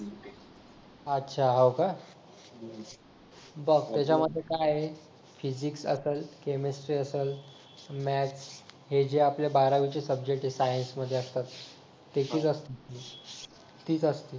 अच्छा हो का बघ त्याच्यामध्ये काय आहे फिजिक्स असल केमिस्ट्री असल मॅथ्स हे जे आपल्या बारावीचे सब्जेक्ट आहेत सायन्स मध्ये असतात ती त्याची तीच असतात